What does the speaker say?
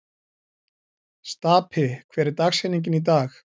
Stapi, hver er dagsetningin í dag?